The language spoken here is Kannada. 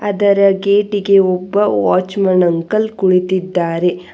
ಅದರ ಗೇಟಿಗೆ ಒಬ್ಬ ವಾಚ್ ಮ್ಯಾನ್ ಅಂಕಲ್ ಕುಣಿತಿದ್ದಾರೆ